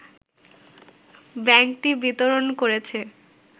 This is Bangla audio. ব্যাংকটি বিতরণ করেছে